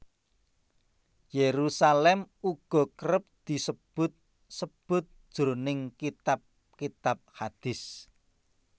Yerusalem uga kerep disebut sebut jroning kitab kitab hadist